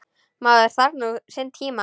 Maður þarf nú sinn tíma.